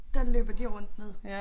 Der løber de rundt nede